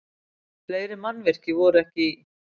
Fleiri mannvirki voru ekki í